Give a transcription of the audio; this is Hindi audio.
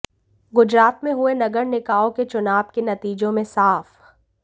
गुजरात में हुए नगर निकायों के चुनाव के नतीजों में साफ